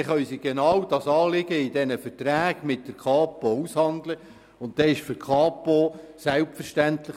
Zudem gibt es leider ziemlich viel Realitätsfremde.